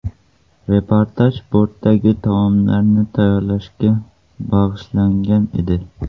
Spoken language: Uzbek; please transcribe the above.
Reportaj bortdagi taomlarni tayyorlashga bag‘ishlangan edi.